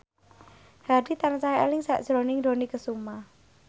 Hadi tansah eling sakjroning Dony Kesuma